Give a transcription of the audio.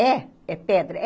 É, é pedra. É